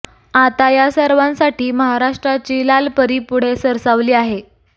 आता या सर्वांसाठी महाराष्ट्राची लाल परी पुढे सरसावली आहे